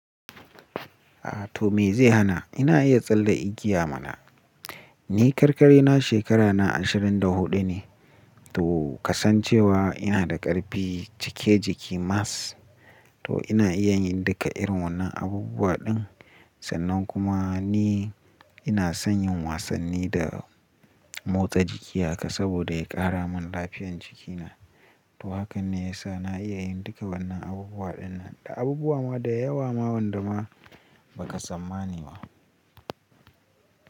Atoh me zai hana, ina iya tsalle igiya mana. Ni karkari na shekara na ashirin da huɗu ne. Toh, kasan cewa ina da ƙarfi cike jiki mass. To ina iya yin duka irin wannan abubuwa ɗin sannan kuma ni ina son yin wasanni da motsa jiki haka saboda ya ƙara min lafiyan jiki na. To hakan ne ya sa na iya yin duka wannan abubuwaɗin nan da abubuwa ma da yawa ma wanda ma ba ka tsammani ba.